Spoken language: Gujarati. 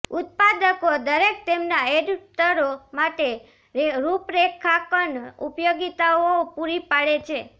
ઉત્પાદકો દરેક તેમના એડપ્ટરો માટે રૂપરેખાંકન ઉપયોગીતાઓ પૂરી પાડે છે